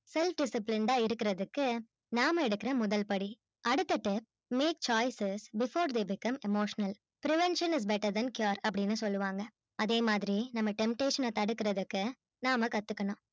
self disciplined ஆ இருக்குறதுக்கு நாம எடுக்குற முதல் படி அடுத்தது make choices before they become emotional prevention is better than cure அப்பிடின்னு சொல்லுவாங்க அதே மாதிரி நம்ம temptation அ தடுக்குறதுக்கு நாம கத்துக்கணும்